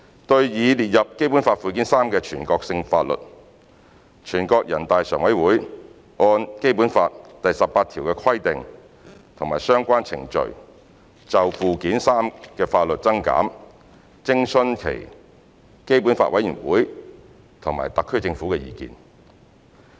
對擬列入《基本法》附件三的全國性法律，人大常委會按《基本法》第十八條的規定及相關程序，就附件三的法律增減徵詢基本法委員會和特區政府的意見。